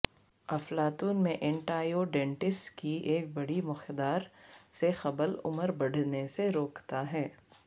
افلاطون میں ینٹائیوڈینٹس کی ایک بڑی مقدار سے قبل عمر بڑھنے سے روکتا ہے